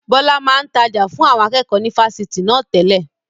Bọlá máa ń tája fún àwọn akẹ́kọ̀ọ́ ni Fásitì na tẹ́lẹ̀.